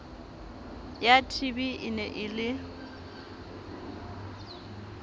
ya tb e ne e